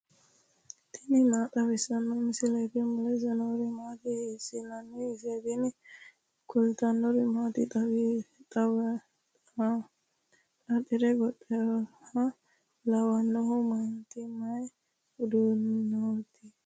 tini maa xawissanno misileeti ? mulese noori maati ? hiissinannite ise ? tini kultannori mannu xaaxire gonxxoha lawannohu maati mayi uddanootikka